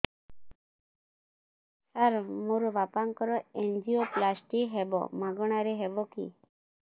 ସାର ମୋର ବାପାଙ୍କର ଏନଜିଓପ୍ଳାସଟି ହେବ ମାଗଣା ରେ ହେବ କି